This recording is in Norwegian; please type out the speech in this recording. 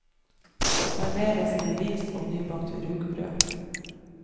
Serveres med ris og nybakt rugbrød.